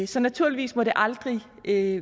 så naturligvis må det aldrig virke